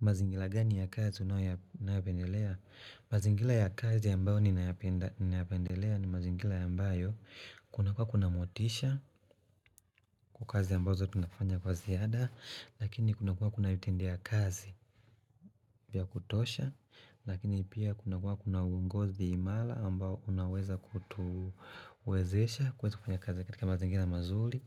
Mazingira gani ya kazi unayo ya unaopendelea? Mazingila ya kazi ambayo ninayapenda ninayapendelea ni mazingila ambayo Kuna kuwa kuna motisha kwa kazi ambazo tunafanya kwa ziada Lakini kuna kuwa kuna utende ya kazi vya kutosha Lakini pia kuna kuwa kuna uongozi imala ambao unaweza kutuwezesha kuweza kufanya kazi katika mazingila mazuli